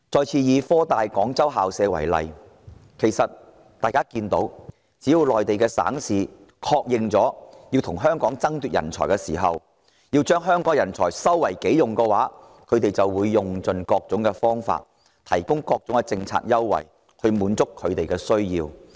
從科大設立廣州分校的例子可見，只要內地省市決定要與香港爭奪人才，把香港人才收為己用後，就會用盡各種方法，提供各種政策優惠來滿足這些人才的需要。